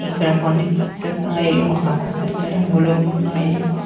ఇక్కడ కొన్ని పుచ్చకాయలు ఆకుపచ్చ రంగులో ఉన్నాయి.